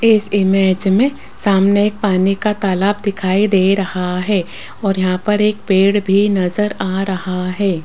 इस इमेज में सामने एक पानी का एक तालाब दिखाई दे रहा है और यहां पर एक पेड़ भी नजर आ रहा है।